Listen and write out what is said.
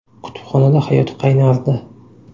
Kutubxonada hayot qaynardi.